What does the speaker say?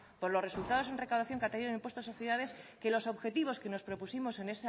por los resultados en recaudación que ha tenido el impuesto de sociedades que los objetivos que nos propusimos